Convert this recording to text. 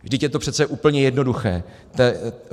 Vždyť je to přece úplně jednoduché.